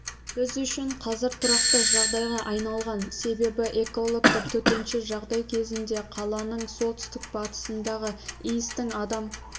біз үшін қазір тұрақты жағдайға айналған себебі экологтар төтенше жағдай кезінде қаланың солтүстік-батысындағы иістің адам